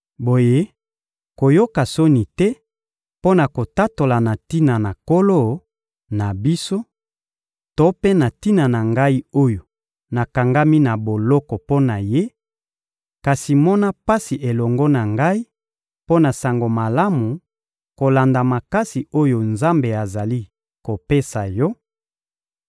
Boye, koyoka soni te mpo na kotatola na tina na Nkolo na biso to mpe na tina na ngai oyo nakangami na boloko mpo na Ye, kasi mona pasi elongo na ngai mpo na Sango Malamu kolanda makasi oyo Nzambe azali kopesa yo,